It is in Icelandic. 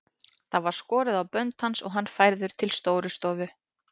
Það var skorið á bönd hans og hann færður til Stórustofu.